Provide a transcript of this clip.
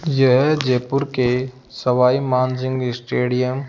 यह जयपुर के सवाई मानसिंह स्टेडियम --